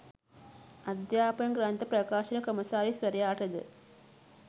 අධ්‍යාපන ග්‍රන්ථ ප්‍රකාශක කොමසාරිස්වරයාටද